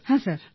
হ্যাঁ স্যার